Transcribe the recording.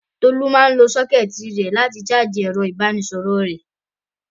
Tolú máa ń lo sọ́kẹ́tì rẹ̀ láti ṣáájì ẹ̀rọ-ìbánisọ̀rọ̀ rẹ̀.